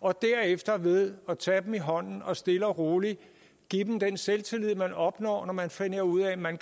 og derefter ved at tage dem i hånden og stille og roligt give dem den selvtillid man opnår når man finder ud af at man